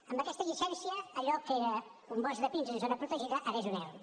amb aquesta llicència allò que era un bosc de pins en zona protegida ara és un erm